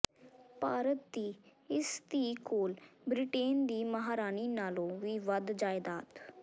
ਭਾਰਤ ਦੀ ਇਸ ਧੀ ਕੋਲ ਬ੍ਰਿਟੇਨ ਦੀ ਮਹਾਰਾਣੀ ਨਾਲੋਂ ਵੀ ਵੱਧ ਜਾਇਦਾਦ